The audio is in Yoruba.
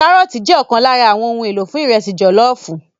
Kárọ́ọ̀tì jẹ́ ọ̀kan lára àwọn ohun èlò fún ìrẹsì jọ̀lọ́ọ̀fù